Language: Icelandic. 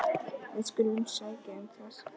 Við skulum sækja um það.